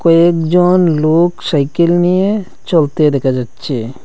কয়েকজন লোক সাইকেল নিয়ে চলতে দেখা যাচ্ছে।